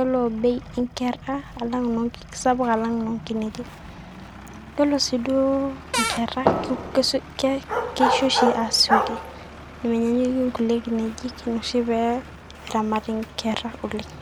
ore bei onkera na keisapuk alang inoo nkineji. ore siiduo inkera keishio oshi aasioki menyaanyukie inkulie kineji naa ina oshi pee eramati inkera aasioki